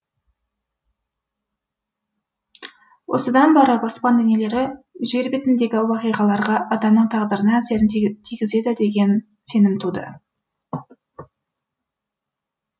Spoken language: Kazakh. осыдан барып аспан денелері жер бетіндегі уақиғаларға адамның тағдырына әсерін тигізеді деген сенім туды